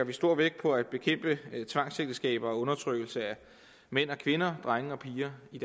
vi stor vægt på at bekæmpe tvangsægteskaber og undertrykkelse af mænd og kvinder drenge og piger i